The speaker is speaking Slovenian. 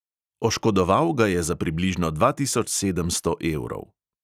Oškodoval ga je za približno dva tisoč sedemsto evrov.